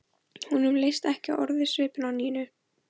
Honum leist ekki orðið á svipinn á Nínu.